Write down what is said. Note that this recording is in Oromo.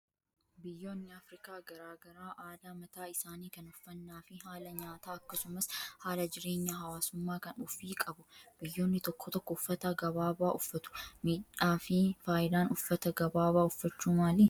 Biyyoonni Afrikaa garaagaraa aadaa mataa isaanii kan uffannaa fi haala nyaataa akkasumas haala jireenya hawaasummaa kan ofii qabu. Biyyoonni tokko tokko uffata gabaabaa uffatu. Miidhaa fi fayidaan uffata gabaabaa uffachuu maali?